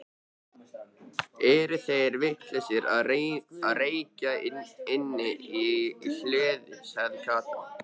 Eru þeir vitlausir að reykja inni í hlöðu? sagði Kata.